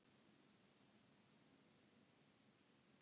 Liðsheildin var góð og það skiptir máli fyrir okkur.